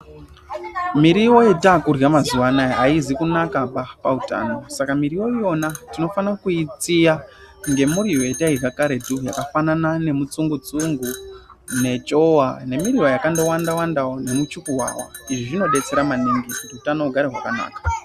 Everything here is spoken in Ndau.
Miriwo yatakurya mazuwa anaya aizi kunakaba pautano saka miriwo iyona tinofana kuitsiya ngemiriwo yatairya karetu yakafanana nemitsungu tsungu nechowa nemiriwo yakandowanda wandawo nemuchuku wawa izvi zvinodetsera maningi kuti utano hugare hwakanaka.